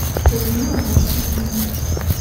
людмила васильевна